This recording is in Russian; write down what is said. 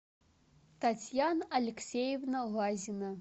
татьяна алексеевна лазина